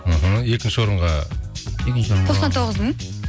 іхі екінші орынға тоқсан тоғыз мың